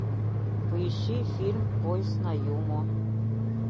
поищи фильм поезд на юму